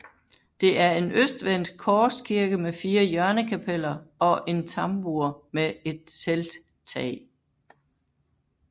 Det er en østvendt korskirke med fire hjørnekapeller og en tambur med et telttag